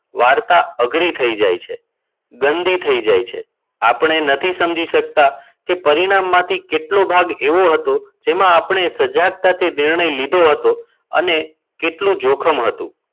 વાર્તા અઘરી થઈ જાય છે ગંદી થઈ જાય છે. આપણે નથી સમજી શકતા કે પરિણામમાંથી કેટલો ભાગ એવો હતો. જેમાં આપણે સજાગતા થી નિર્ણય લીધો હતો અને કેટલું જોખમ હતું.